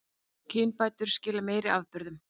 Kynbætur skila meiri afurðum